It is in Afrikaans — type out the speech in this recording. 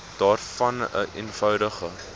daarvan n eenvoudige